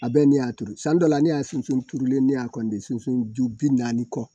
A bɛɛ ni y'a turu san dɔ la ne y'a sunsun turulen ne y'a de sunsun ju bi naani kɔ